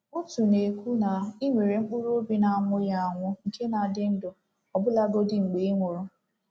Otu na-ekwu na ị nwere mkpụrụ obi na-anwụghị anwụ nke na-adị ndụ ọbụlagodi mgbe ị nwụrụ.